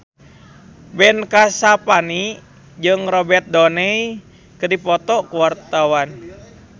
Ben Kasyafani jeung Robert Downey keur dipoto ku wartawan